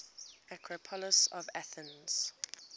acropolis of athens